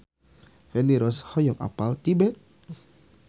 Feni Rose hoyong apal Tibet